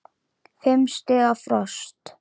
Fimm stiga frost.